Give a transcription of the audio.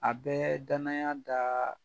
A bɛɛ danaya daa